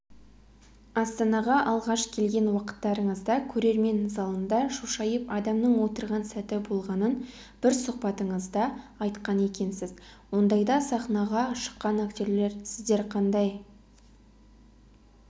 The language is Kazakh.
астанаға алғаш келген уақыттарыңызда көрермен залында шошайып адамның отырған сәті болғанын бір сұхбатыңызда айтқан екенсіз ондайда сахнаға шыққан актерлер сіздер қандай